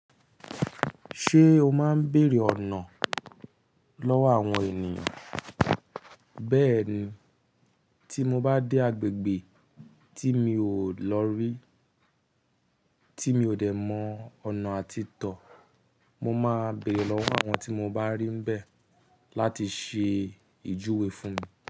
Ṣé o máa ń bèèrè ọ̀nà lọ́wọ́ àwọn ènìyàn? Bẹ́ẹ̀ni, tí mo bá dé agbègbè tí mi ò lọ rí, tí mi ò dẹ̀ mọ ọ̀nà àti tọ̀, mo máa béèrè lọ́wọ́ àwọn tí mo bá rí ń bẹ láti ṣe ìjuwe fún mi.